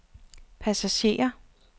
passager